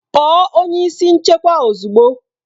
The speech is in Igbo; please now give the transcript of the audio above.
Kpọọ onye isi nchekwa ozugbo!